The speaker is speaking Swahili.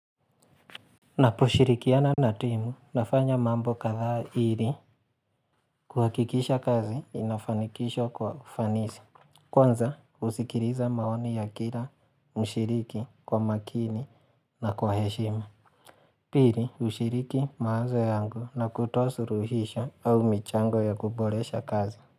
Naposhirikiana na timu nafanya mambo kadhaa ili kuhakikisha kazi inafanikishwa kwa ufanisi Kwanza usikiliza maoni ya kila mshiriki kwa makini na kwa heshima Pili mshiriki mawazo yangu na kutoa suruhisho au michango ya kuboresha kazi.